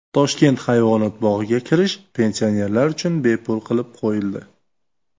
Toshkent hayvonot bog‘iga kirish pensionerlar uchun bepul qilib qo‘yildi.